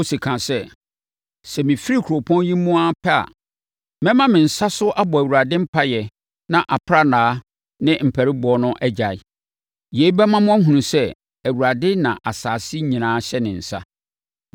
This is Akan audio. Mose kaa sɛ, “Sɛ mefiri kuropɔn yi mu ara pɛ a, mɛma me nsa so abɔ Awurade mpaeɛ na aprannaa no ne ampariboɔ no agyae. Yei bɛma mo ahunu sɛ Awurade na asase nyinaa hyɛ ne nsa.